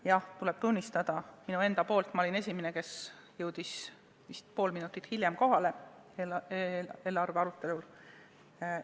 Jah, mul tuleb tunnistada, et ma olin esimene, kes jõudis eelarve arutelule hiljem kohale, vist pool minutit hiljem.